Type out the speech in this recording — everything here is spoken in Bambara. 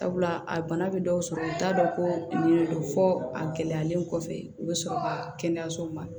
Sabula a bana bɛ dɔw sɔrɔ u t'a dɔn ko nin de don fɔ a gɛlɛyalen kɔfɛ u bɛ sɔrɔ ka kɛnɛyasow ma